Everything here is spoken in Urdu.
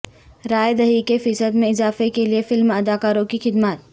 رائے دہی کے فیصد میں اضافہ کیلئے فلم اداکاروں کی خدمات